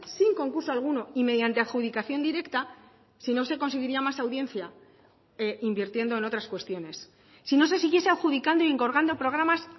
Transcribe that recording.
sin concurso alguno y mediante adjudicación directa si no se conseguiría más audiencia invirtiendo en otras cuestiones si no se siguiese adjudicando y encargando programas